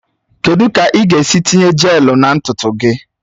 Kedu ka ị ga-esi tinye jelu na ntutu gị?